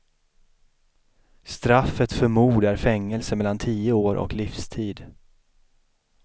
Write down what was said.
Straffet för mord är fängelse mellan tio år och livstid.